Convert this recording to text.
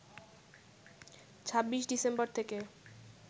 ২৬ December থেকে